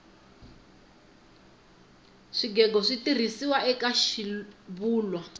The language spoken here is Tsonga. swigego switirhisiwa eka xivulwa